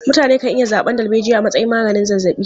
Mutane kan iya zaɓan darbejiya a matsayin maganin zazzaɓi.